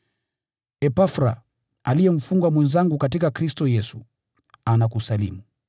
Epafra, aliye mfungwa mwenzangu katika Kristo Yesu, anakusalimu.